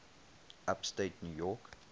upstate new york